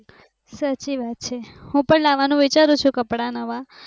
સાચી વાત છે હુ પણ લાવાનુ વિચારૂ છુ કપડા નવા